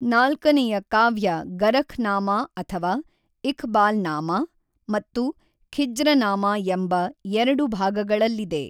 ನಾಲ್ಕನೆಯ ಕಾವ್ಯ ಗರಖ್ ನಾಮಾ ಅಥವಾ ಇಖ್ ಬಾಲ್ ನಾಮಾ ಮತ್ತು ಖಿಜ್ರನಾಮಾ ಎಂಬ ಎರಡು ಭಾಗಗಳಲ್ಲಿದೆ.